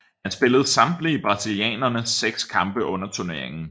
Han spillede samtlige brasilianernes seks kampe under turneringen